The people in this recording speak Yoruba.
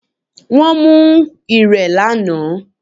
Wón mú ọ̀rẹ̀ ní àná